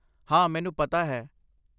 ਹਾਂ, ਮੈਨੂੰ ਪਤਾ ਹੈ